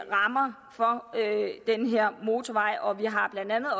rammer for den her motorvej og vi har blandt andet